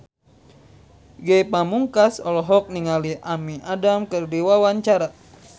Ge Pamungkas olohok ningali Amy Adams keur diwawancara